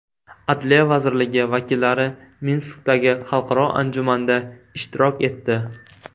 Adliya vazirligi vakillari Minskdagi xalqaro anjumanda ishtirok etdi.